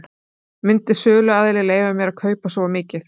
Myndi söluaðili leyfa mér að kaupa svo mikið?